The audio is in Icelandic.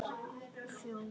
Föður þinn.